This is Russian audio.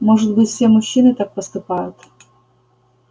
может быть все мужчины так поступают